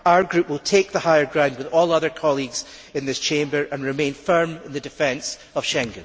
Our group will take the higher ground with all other colleagues in this Chamber and remain firm in the defence of Schengen.